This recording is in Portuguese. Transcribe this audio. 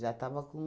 tava com...